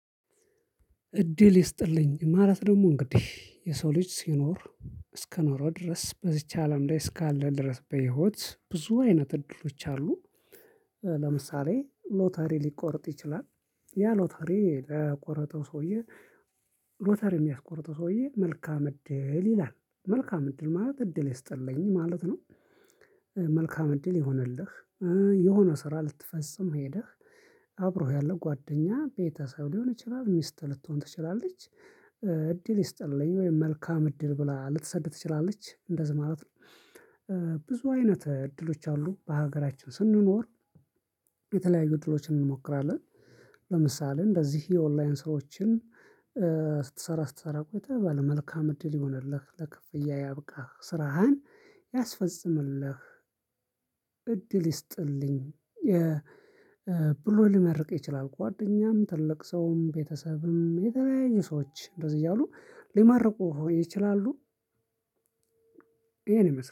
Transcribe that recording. "እድል ይስጥልኝ" ማለት ደግሞ እንግዲህ የሰው ልጅ ሲኖር እስከኖረ ድረስ በዚች አለም ላይ እስካለ ድረስ በህይወት ብዙ አይነት እድሎች አሉ። ለምሳሌ ሎተሪ ሊቆርጥ ይችላል። ያ ሎተሪ ለቆረጠው ሰውዬ ሎተሪ የሚያስቆርጠው ሰውዬ "መልካም እድል" ይላል። መልካም እድል ማለት እድል ይስጥልኝ ማለት ነው። መልካም እድል ይሁንልህ የሆነ ስራ ልትፈጽም ሄደህ አብሮህ ያለው ጓደኛ ቤተሰብ ሊሆን ይችላል ሚስት ልትሆን ትችላለች እድል ይስጥልኝ ወይም መልካም እድል ብላ ልትሰድ ትችላለች እንደዚህ ማለት ነው። ብዙ አይነት እድሎች አሉ በሀገራችን ስንኖር። የተለያዩ እድሎችን እንሞክራለን። ለምሳሌ እንደዚህ የኦንላይን ስራዎችን ስትሰራ ስትሰራ ቆይተህ ባለ መልካም እድል ይሁንልህ፣ ለክፍያ ያብቃህ፣ ስራህን ያስፈጽምልህ እድል ይስጥልኝ ብሎ ሊመርቅህ ይችላል ጓደኛም ትልቅ ሰውም ቤተሰብም የተለያየ ሰዎች እንደዚህ እያሉ ሊመርቁህ ይችላሉ። ይሄንን ይመስላል